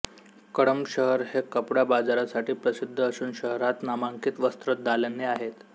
कळंब शहर हे कपडा बाजारासाठी प्रसिद्ध असून शहरात नामांकित वस्त्रदालने आहेत